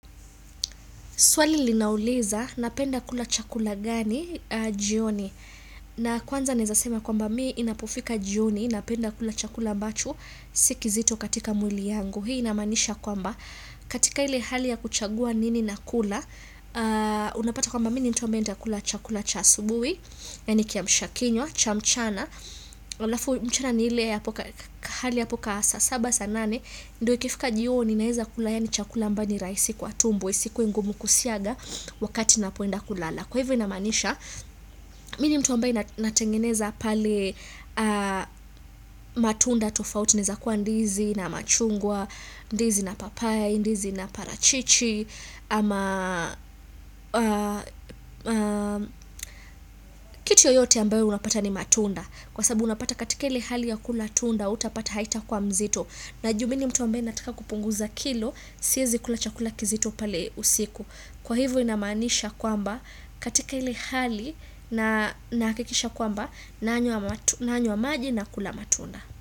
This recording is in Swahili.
Swali linauliza, napenda kula chakula gani, jioni. Na kwanza naeza sema kwamba mii inapofika jioni, napenda kula chakula ambacho, si kizito katika mwili yangu. Hii inamaanisha kwamba, katika ile hali ya kuchagua nini nakula, unapata kwamba mii ni mtu ambae ntakula chakula cha asubui, yaani kiamshakinywa, cha mchana, alafu mchana ni hali ya po kasaa, saba, saa nane, ndo kifika jioni naeza kulaa yaani chakula ambayo ni raisi kwa tumbo isikue ngumu kusiaga wakati napoenda kulala kwa hivyo inamaanisha mini mtu ambaye natengeneza pale matunda tofauti inaeza kuwa ndizi na machungwa, ndizi na papaya, ndizi na parachichi ama kitu yoyote ambayo unapata ni matunda kwa sabu unapata katika ile hali ya kula tunda utapata haitakuwa mzito na juu minni mtu ambaye nataka kupunguza kilo Siezi kula chakula kizito pale usiku Kwa hivo inamaanisha kwamba katika ile hali na nahakikisha kwamba Nanywa maji na kula matunda.